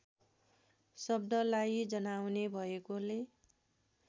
शब्दलाई जनाउने भएकोले